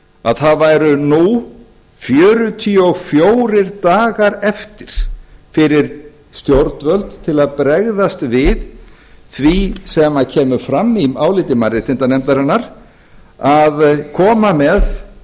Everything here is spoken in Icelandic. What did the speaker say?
að það væru nú fjörutíu og fjórir dagar eftir fyrir stjórnvöld til að bregðast við því sem hér kemur fram í áliti mannréttindanefndarinnar að koma með